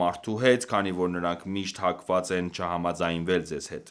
մարդու հետ, քանի որ նրանք միշտ հակված են չհամաձայնվել ձեզ հետ: